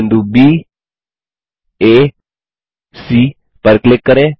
बिंदु baसी पर क्लिक करें